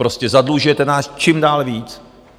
Prostě zadlužujete nás čím dál více.